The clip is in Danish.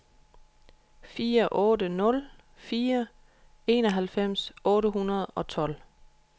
fire otte nul fire enoghalvfems otte hundrede og tolv